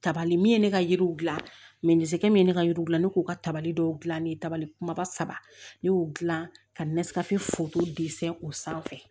Tabali min ye ne ka yiriw gilan min ye ne ka yiriw gilan ne k'u ka tabali dɔw dilan ne dabali kumaba saba ne y'o dilan ka o sanfɛ